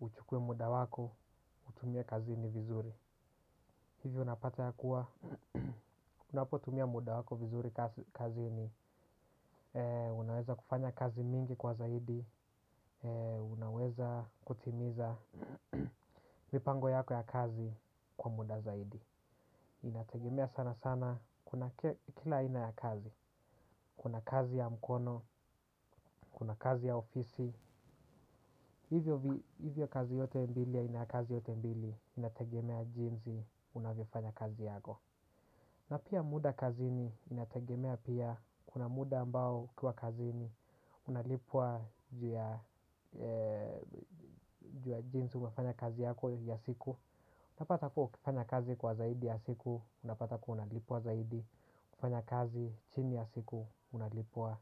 uchukue muda wako, utumie kazini vizuri. Hivyo unapata ya kuwa, unapotumia muda wako vizuri kazini. Unaweza kufanya kazi mingi kwa zaidi. Unaweza kutimiza mipango yako ya kazi kwa muda zaidi. Inategemea sana sana kuna kila aina ya kazi kuna kazi ya mkono kuna kazi ya ofisi hivyo kazi yote mbili ya aina kazi yote mbili inategemea jinsi unavyofanya kazi yako na pia muda kazini inategemea pia kuna muda ambao ukiwa kazini unalipwa juu ya jinsi umefanya kazi yako ya siku unapata kuwa ukifanya kazi kwa zaidi ya siku unapata kuwa unalipwa zaidi. Kufanya kazi chini ya siku unalipwa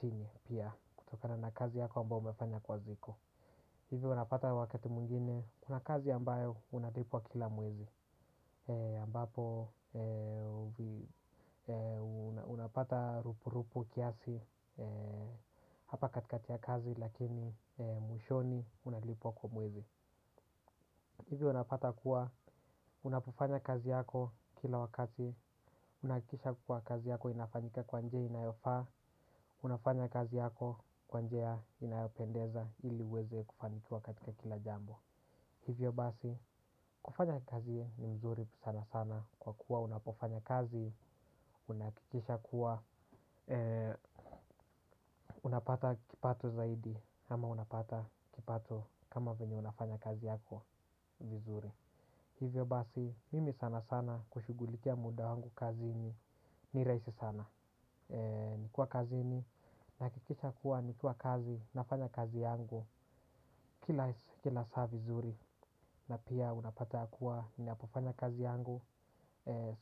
chini pia. Kutokana na kazi yako ambayo umefanya kwa siku hivi unapata wakati mwingine kuna kazi ambayo unalipwa kila mwezi ambapo unapata rupu rupu kiasi. Hapa katikati ya kazi lakini mwishoni unalipwa kwa mwezi. Hivi unapata kuwa unapofanya kazi yako kila wakati unahakikisha kuwa kazi yako inafanyika kwa njia inayofaa. Unafanya kazi yako kwa njia inayopendeza ili uweze kufanikiwa katika kila jambo. Hivyo basi, kufanya kazi ni mzuri sana sana. Kwa kuwa unapofanya kazi, unahakikisha kuwa unapata kipato zaidi. Ama unapata kipato kama venye unafanya kazi yako vizuri. Hivyo basi, mimi sana sana kushugulikia muda wangu kazini ni rahisi sana. Nikuwa kazini. Nahakikisha kuwa nikiwa kazi. Nafanya kazi yangu. Kila saa vizuri na pia unapata kuwa ninapofanya kazi yangu.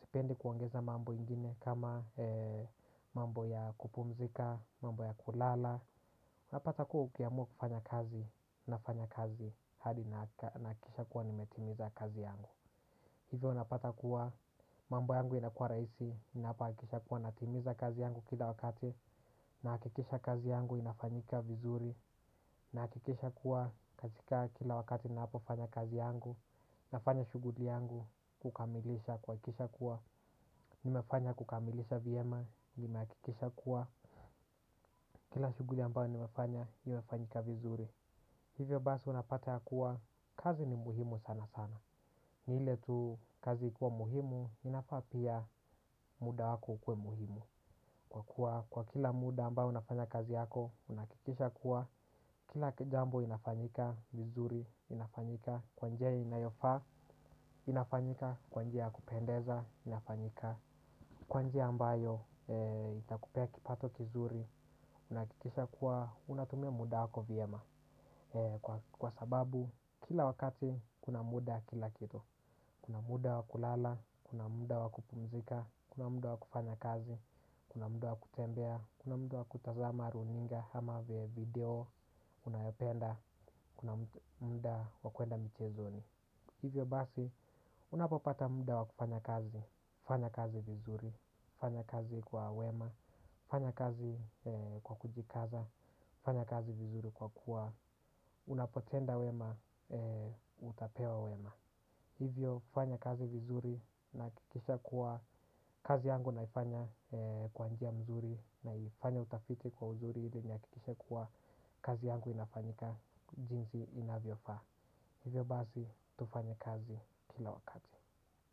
Sipendi kuongeza mambo ingine. Kama mambo ya kupumzika. Mambo ya kulala. Unapata kuwa ukiamua kufanya kazi nafanya kazi. Hadi nahakikisha kuwa nimetimiza kazi yangu. Hivyo unapata kuwa mambo yangu inakuwa rahisi ninapohakikisha kuwa natimiza kazi yangu. Kila wakati nahakikisha kazi yangu inafanyika vizuri. Nahakikisha kuwa katika kila wakati napofanya kazi yangu. Nafanya shuguli yangu kukamilisha kuhakikisha kuwa nimefanya kukamilisha vyema nimehakikisha kuwa kila shuguli ambayo nimefanya imefanyika vizuri. Hivyo basi unapata ya kuwa kazi ni muhimu sana sana. Ni ile tu kazi ikiwa muhimu inafaa pia muda wako ukuwe muhimu. Kwa kuwa kwa kila muda ambao unafanya kazi yako, unahakikisha kuwa kila jambo inafanyika, vizuri inafanyika, kwa njia inayofaa inafanyika, kwa njia ya kupendeza inafanyika. Kwa njia ambayo itakupea kipato kizuri, unahakikisha kuwa unatumia muda wako vyema. Kwa sababu kila wakati kuna muda wa kila kitu. Kuna muda wa kulala, kuna muda wa kupumzika, kuna muda wa kufanya kazi, kuna muda wa kutembea, kuna muda wa kutazama runinga ama video unayopenda, kuna muda wa kuenda michezoni. Hivyo basi, unapopata muda wa kufanya kazi, fanya kazi vizuri, fanya kazi kwa wema, fanya kazi kwa kujikaza, fanya kazi vizuri kwa kuwa, unapotenda wema, utapewa wema. Hivyo fanya kazi vizuri na hakikisha kuwa kazi yangu naifanya kwa njia mzuri naifanya utafiti kwa uzuri ili nihakikishe kuwa kazi yangu inafanyika jinsi inavyofaa. Hivyo basi tufanya kazi kila wakati.